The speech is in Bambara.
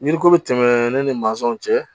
Yiriko bɛ tɛmɛ ne ni mansinw cɛ